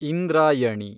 Indrayani